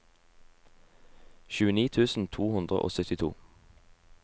tjueni tusen to hundre og syttito